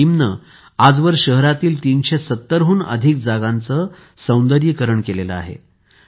या टीमने आजवर शहरातील ३७० हुन अधिक जागांचे सौंदर्यीकरण केले आहे